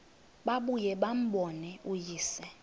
babuye bambone uyise